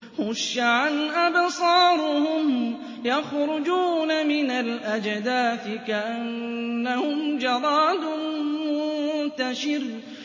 خُشَّعًا أَبْصَارُهُمْ يَخْرُجُونَ مِنَ الْأَجْدَاثِ كَأَنَّهُمْ جَرَادٌ مُّنتَشِرٌ